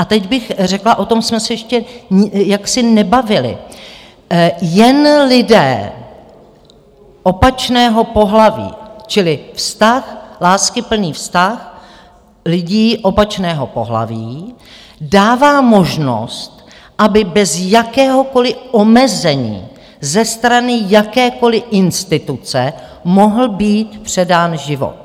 A teď bych řekla, o tom jsme se ještě jaksi nebavili - jen lidé opačného pohlaví, čili vztah, láskyplný vztah lidí opačného pohlaví dává možnost, aby bez jakéhokoliv omezení ze strany jakékoli instituce mohl být předán život.